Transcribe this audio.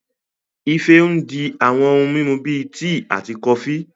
Ife ń di àwọn ohun mímu bíi tíì àti kọfí